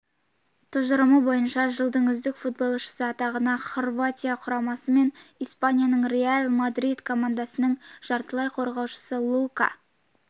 тұжырымы бойынша жылдың үздік футболшысы атағына хорватия құрамасы мен испанияның реал мадрид командасының жартылай қорғаушысы лука